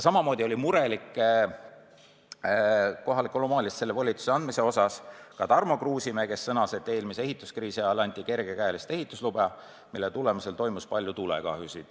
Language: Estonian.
Samamoodi oli murelik kohalikule omavalitsusele selle volituse andmise pärast Tarmo Kruusimäe, kes sõnas, et eelmise ehituskriisi ajal anti kergekäeliselt ehituslube, mille tagajärjel toimus palju tulekahjusid.